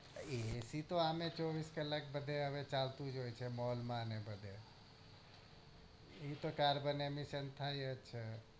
AC તો આમેં ચોવીસ કલાક બધે ચાલતું જ હોય છે mall ને બધે એતો કાર્બન ને સંસ્થા જ છે